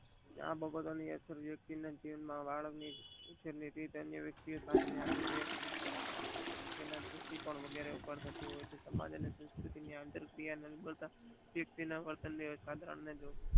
બાબત અસલ વક્તિઓ જીવન વૅલ ની રીતે અન્ય વક્તિઓ સાથે આંતર રાષ્ટિય સંસ્થાઓ વગેરે ઉપર થતી હોય છે અતરપ્રિય નિર્બળતાવર્તન